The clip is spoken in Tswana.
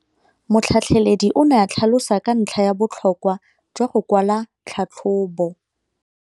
Motlhatlheledi o ne a tlhalosa ka ntlha ya botlhokwa jwa go kwala tlhatlhôbô.